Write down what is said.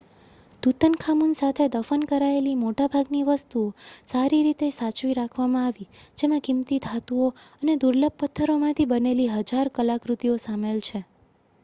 Tutankhamun સાથે દફન કરાયેલી મોટાભાગની વસ્તુઓ સારી રીતે સાચવી રાખવામાં આવી જેમાં કિંમતી ધાતુઓ અને દુર્લભ પથ્થરોમાંથી બનેલી હજારો કલાકૃતિઓ સામેલ છે